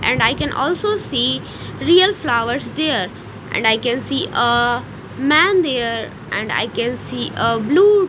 and I can also see real flowers there I can see ah man there and I can see ah blue--